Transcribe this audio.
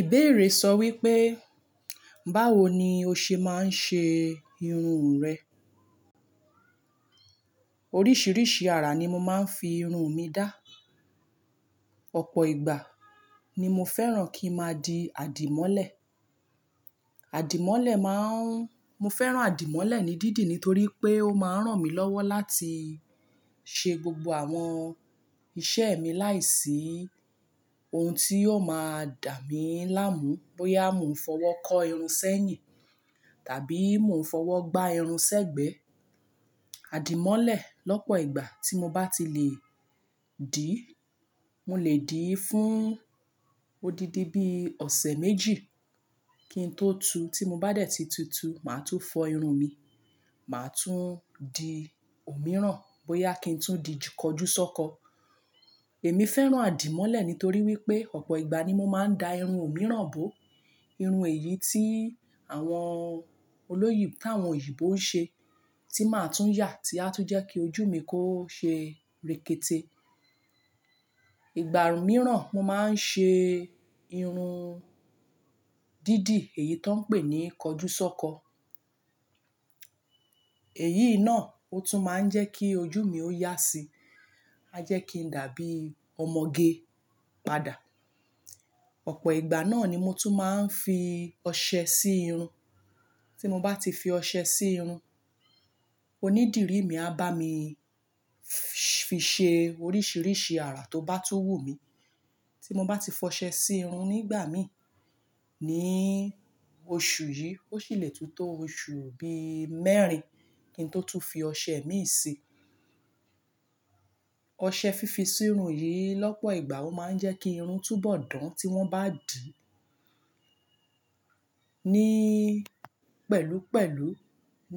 Ìbéèrè sọ wípé báwo ni o ṣe máà ń ṣe irun rẹ̀? Oríṣiríṣi ara ni mo máa ń fi irun mi dá. Ọ̀pọ̀ ìgbà ni mo fẹ́ràn kí ń máa di àdìmọ́lẹ̀. Àdìmọ́lẹ̀ máa ń-- mo fẹ́ràn àdìmọ́lẹ̀ ní dídi nítorí pé ó máa ń ràn mí lọ́wọ́ láti ṣe gbogbo àwọn iṣẹ́ mi láìsí ohun tí yóò máa dà mí láàmú bóyá mo fọwọ́ kọ irun sẹ́yìn tàbí mo fọwọ́ gbá irun sẹ́gbẹ̀ẹ́. Àdìmọ́lẹ̀ lọ́pọ̀ ìgbà tí mo bá ti lè dì, mo lè dì í fún odidi bí ọ̀sẹ̀ méjì kí n tó tu. Tí mo bá dẹ̀ tí tú tu, màá tún fọ irun mi, màá tún di òmíràn bóyá kí n tún di kọjúsọ́kọ. Èmi fẹ́ràn àdìmọ́lẹ̀ nítorí wípé ọ̀pọ̀ ìgbà ni mo máa ń da irun òmíràn bó. Irun èyí tí àwọn olóyè táwọn òyìnbó ń ṣe tí màá tún yà tí a tún jẹ́ kí ojú mi kó ṣe rekete. Ìgbà mìíràn mo máa ń ṣe irun dídi èyí tó ń pè ní kọjúsọ́kọ. Èyí náà ó tún máa ń jẹ́ kí ojú mi ó yá sí. A jẹ́ kí n dàbí ọmọge padà. Ọ̀pọ̀ ìgbà náà ni mo tún máa ń fi ọṣẹ sí irun. Tí mo bá ti fi ọṣẹ sí irun, onídìrí mi á bá mi fi ṣe oríṣiríṣi ara tó bá tú wù mí. Tí mo bá ti fọṣẹ sí irun nígbà mí ní oṣù yìí, ó sì lè tú tó oṣù òbí mẹ́rin kí n tó tún fi ọṣẹ mi sí i. Ọṣẹ fífi sí irun yìí lọ́pọ̀ ìgbà ó máa ń jẹ́ kí irun túbọ̀ dán tí wọ́n bá dì. Ní pẹ̀lúpẹ̀lú